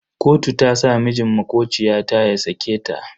Kotu ta sa mijin makociya ta ya sake ta.